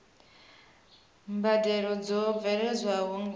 mbadelo dzo bveledzwaho nga u